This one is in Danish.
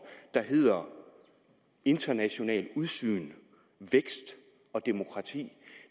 der hedder internationalt udsyn vækst og demokrati